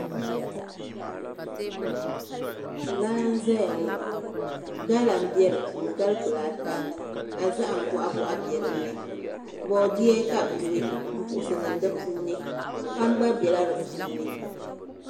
Laa n ʒɛya ŋo gala n bɛ di puuni gali kpulaa ata ka zaham boɣa boɣa bɛ dinni boodiyɛ ka bi duɣu n puɣusi niŋ di puuni kpam gba bɛla di puuni